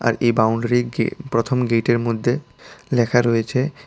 এই বাউন্ডারিকে গে প্রথম গেটের মধ্যে লেখা রয়েছে--